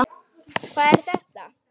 Hvað er þetta!